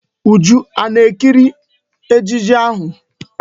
Uju a na-ekiri ejije ahụ?